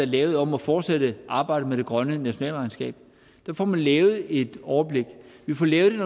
lavet om at fortsætte arbejdet med det grønne nationalregnskab der får man lavet et overblik vi får lavet det